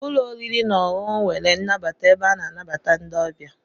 Ụlọ oriri na ọṅụṅụ nwere nnabata ebe a na-anabata ndị ọbịa.